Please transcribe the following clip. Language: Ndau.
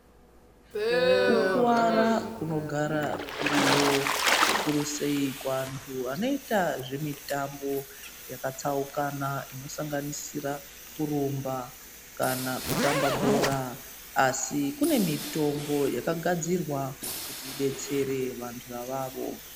Kukuwara kunogara kuriyo, kuruse kuwantu wanoyita zvemutambo yakatsaukana , inosanganisira kurumba kana kutamba bhora. Asi, kunemitombo yakagadzirwa kuti idetsere vantu avavo.